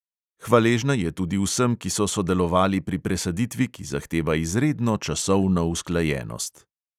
Hvaležna je tudi vsem, ki so sodelovali pri presaditvi, ki zahteva izredno časovno usklajenost.